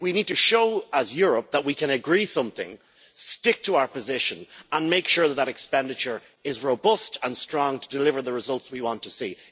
We need to show, as Europe, that we can agree something, stick to our position and make sure that that expenditure is robust and strong to deliver the results we want to see.